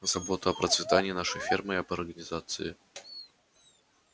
забота о процветании нашей фермы и об организации